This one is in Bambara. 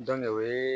o ye